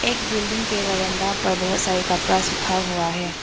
एक बिल्डिंग के बरन्दा पर बहोत सारे कपड़ा सूखा हुआ है।